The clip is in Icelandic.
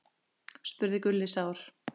spurði Gulli sár.